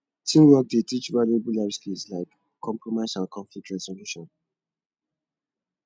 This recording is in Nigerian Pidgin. teamwork dey teach valuable life skills like compromise and conflict resolution